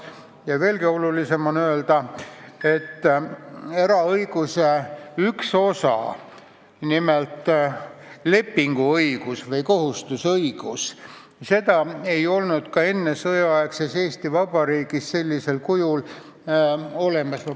Ja veelgi olulisem on öelda, et eraõiguse ühte osa, nimelt lepinguõigust või kohustusõigust ei olnud ka ennesõjaaegses Eesti Vabariigis sellisel kujul olemas.